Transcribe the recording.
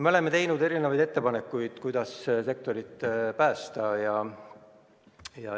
Me oleme teinud mitmesuguseid ettepanekuid, kuidas sektorit päästa.